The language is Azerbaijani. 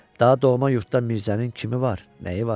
Daha doğma yurdda Mirzənin kimi var, nəyi var?